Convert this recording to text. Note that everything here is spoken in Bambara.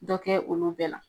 Dɔ kɛ olu bɛɛ la.